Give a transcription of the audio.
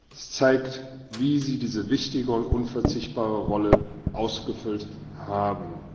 Es zeigt, wie Sie diese wichtige und unverzichtbare Rolle ausgefüllt haben.